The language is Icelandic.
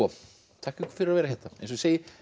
þakka ykkur fyrir að vera hérna eins og ég segi